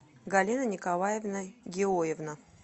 галина николаевна геоевна